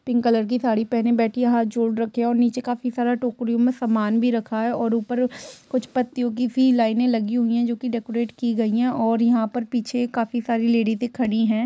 Pink colour की साड़ी पहन बैठी हाथ जोड़ रखे है और नीचे काफी सारा टोकरिओं में समान भी रखा है और ऊपर कुछ पत्तियों की भी लाईने लगी हुई है जोकि डेकोरटेड की गई है और यहाँ पर पीछे काफी सारी लेडीसे से खड़ी है।